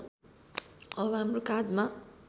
अब हाम्रो काँधमा